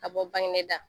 Ka bɔ bange da